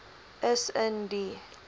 is in die